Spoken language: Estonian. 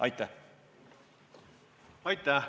Aitäh!